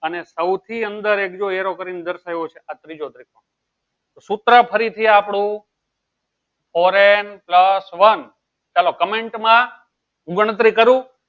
અને સૌથી અંદર એક જો arrow કરીને દર્શાવ્યો છે આ ત્રીજો છે સૂત્ર ફરીથી આપણું four n pulse n ચાલો comment માં ગણતરી કરું